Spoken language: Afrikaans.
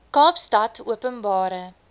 kaapstadopenbare